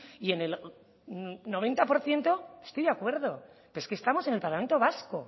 y en el noventa por ciento estoy de acuerdo pero es que estamos en el parlamento vasco